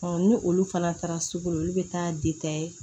ni olu fana taara sugu la olu bɛ taa